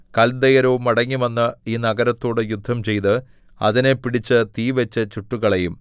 കല്ദയരോ മടങ്ങിവന്ന് ഈ നഗരത്തോടു യുദ്ധം ചെയ്ത് അതിനെ പിടിച്ച് തീ വെച്ചു ചുട്ടുകളയും